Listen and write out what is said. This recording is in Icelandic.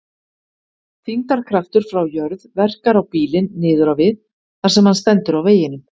Þyngdarkraftur frá jörð verkar á bílinn niður á við þar sem hann stendur á veginum.